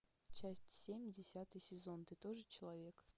часть семь десятый сезон ты тоже человек